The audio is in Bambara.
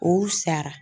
O sara